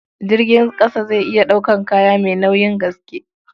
Jirgin ƙasa zai iya ɗaukar kaya mai nauyin gaske.